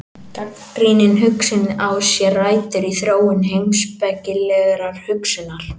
Gagnrýnin hugsun á sér rætur í þróun heimspekilegrar hugsunar.